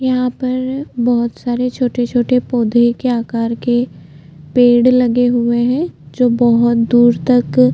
यहाँ पर बोहोत सारे छोटे- छोटे पौधे के आकार के पेड़ लगे हुए है जो बोहोत दूर तक --